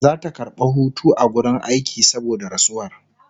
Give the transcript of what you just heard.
Zata karɓa Hutu a wurin aiki saboda rasuwar